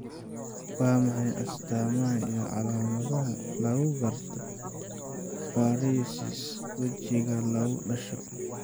Waa maxay astaamaha iyo calaamadaha lagu garto paresis wejiga lagu dhasho?